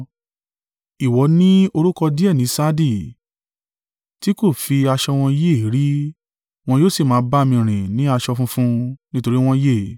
Ìwọ ní orúkọ díẹ̀ ní Sardi, tí kò fi aṣọ wọn yí èérí; wọn yóò sì máa ba mi rìn ní aṣọ funfun: nítorí wọ́n yẹ.